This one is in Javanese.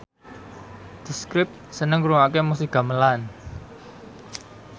The Script seneng ngrungokne musik gamelan